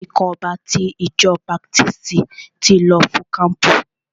Àwọn ikọ̀ ọba ti ìjọ baptisti ti lọ fún kampu.